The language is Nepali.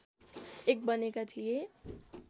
एक बनेका थिए